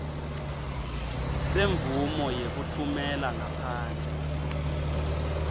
semvumo yekutfumela ngaphandle